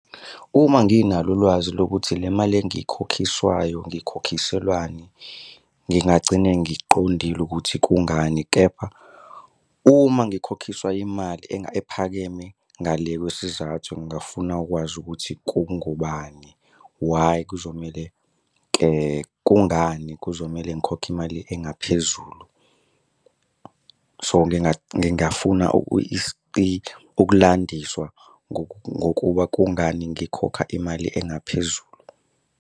Uma nginalo ulwazi lokuthi le mali engikhokhiswayo ngiyikhokhiswelani, ngingagcine ngiqondile ukuthi kungani, kepha uma ngikhokhiswa imali ephakeme ngale kwesizathu, ngingafuna ukwazi ukuthi kungobani. Why kuzomele kungani kuzomele ngikhokhe imali engaphezulu. So, ngingafuna ukulandiswa ngokuba kungani ngikhokha imali engaphezulu.